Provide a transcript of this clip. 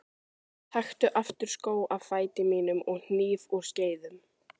Taktu aftur skó af fæti mínum og hníf úr skeiðum.